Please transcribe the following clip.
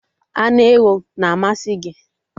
Anụ ewu na amasị m